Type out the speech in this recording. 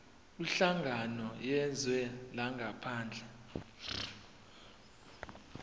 kwinhlangano yezwe langaphandle